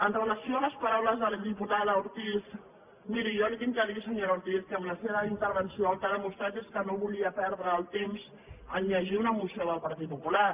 amb relació a les paraules de la diputada ortiz miri jo li haig de dir senyora ortiz que amb la seva intervenció el que ha demostrat és que no volia perdre el temps a llegir una moció del partit popular